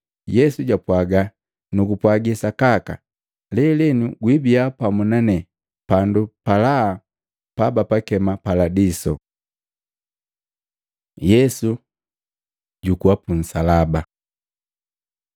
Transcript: Yesu japwaga, “Nugupwagi sakaka lelenu gwiibiya pamu nane pandu pa laha pabapakema Paladiso.” Yesu jukuwa punsalaba Matei 27:45-56; Maluko 15:33-41; Yohana 19:28-30